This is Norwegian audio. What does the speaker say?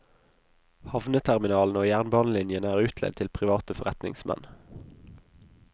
Havneterminalene og jernbanelinjene er utleid til private forretningsmenn.